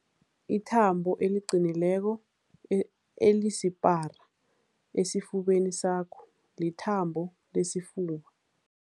Ithambo eliqinileko e elisipara esifubeni sakho lithambo lesifuba.